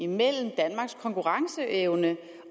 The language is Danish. mellem danmarks konkurrenceevne